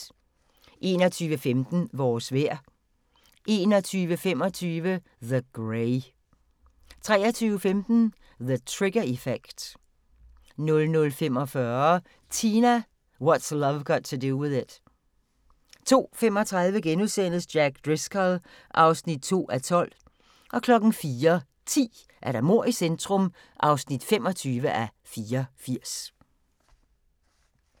21:15: Vores vejr 21:25: The Grey 23:15: The Trigger Effect 00:45: Tina – What's Love Got to Do With It 02:35: Jack Driscoll (2:12)* 04:10: Mord i centrum (25:84)